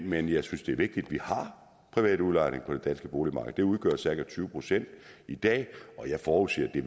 men jeg synes det er vigtigt at vi har privat udlejning på det danske boligmarked det udgør cirka tyve procent i dag og jeg forudser at